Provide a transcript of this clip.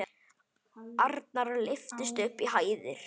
Arnar lyftist upp í hæðir.